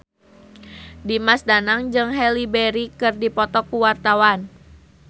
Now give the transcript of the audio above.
Dimas Danang jeung Halle Berry keur dipoto ku wartawan